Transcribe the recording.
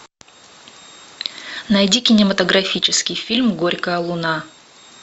найди кинематографический фильм горькая луна